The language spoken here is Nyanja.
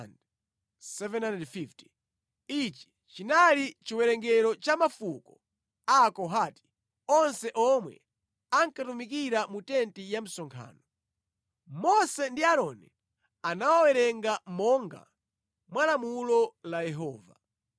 Ichi chinali chiwerengero cha mafuko a Akohati onse omwe ankatumikira mu tenti ya msonkhano. Mose ndi Aaroni anawawerenga monga mwa lamulo la Yehova.